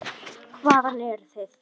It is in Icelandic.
Hvaðan eruð þið?